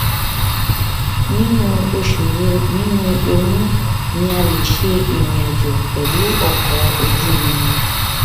ninu osu wo ninu oyun ni a le se irin ajo pelu oko oju iriǹ